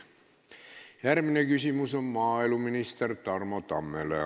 Järgmine küsimus on maaeluminister Tarmo Tammele.